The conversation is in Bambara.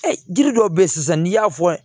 jiri dɔw bɛ ye sisan n'i y'a fɔ